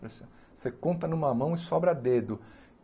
Você você conta numa mão e sobra dedo.